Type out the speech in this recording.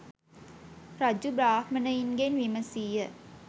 රජු බ්‍රාහ්මණයින්ගෙන් විමසී ය.